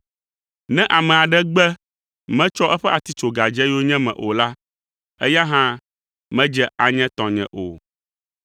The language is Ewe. Ne ame aɖe gbe metsɔ eƒe atitsoga dze yonyeme o la, eya hã medze anye tɔnye o.